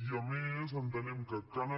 i a més entenem que cal